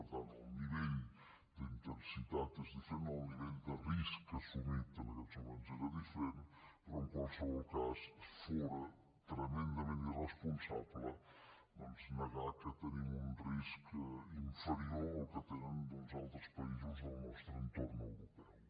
per tant el nivell d’intensitat és diferent el nivell de risc assumit en aquests moments és diferent però en qualsevol cas fóra tremendament irresponsable negar que tenim un risc inferior al que tenen altres països del nostre entorn europeu